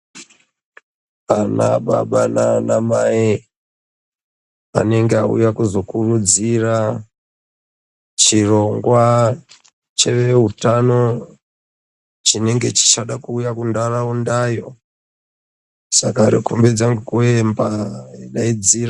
Ana baba nana mai anenge auya kuzokurudzira chirongwa chevehutano chinenge chichada kuuyamo ayo saka anokombidza nekuemba nekudaidzira.